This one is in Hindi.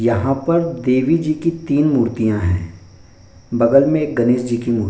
यहाँ पर देवी जी की तीन मूर्तियाँ हैं बगल में एक गणेश जी की मु --